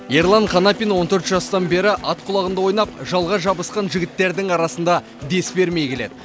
ерлан қанапин он төрт жастан бері ат құлағында ойнап жалға жабысқан жігіттердің арасында дес бермей келеді